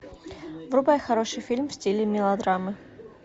врубай хороший фильм в стиле мелодрамы